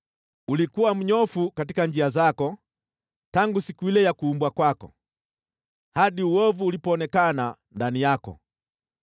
Ulikuwa mnyofu katika njia zako tangu siku ile ya kuumbwa kwako, hadi uovu ulipoonekana ndani yako.